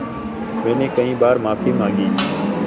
मैंने कई बार माफ़ी माँगी